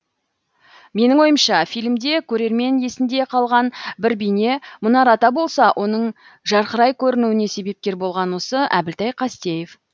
менің ойымша фильмде көрермен есінде қалған бір бейне мұнар ата болса оның жарқырай көрінуіне себепкер болған осы әбілтай қастеев